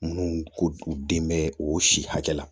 Minnu ko den bɛ o si hakɛ la